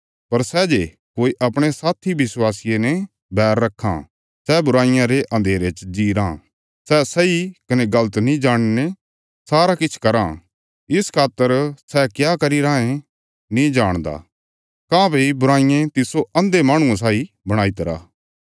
पर सै जे कोई अपणे साथी विश्वासिये ने बैर रखां सै बुराईया रे अन्धेरे च जी राँ सै सही कने गल़त नीं जाणीने सारा किछ कराँ इस खातर सै क्या करी राँये नीं जाणदा काँह्भई बुराईये तिस्सो अन्धे माहणुये साई बणाई तरा